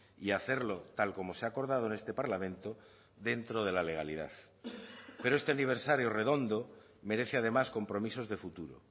y hacerlo tal como se ha acordado en este parlamento dentro de la legalidad pero este aniversario redondo merece además compromisos de futuro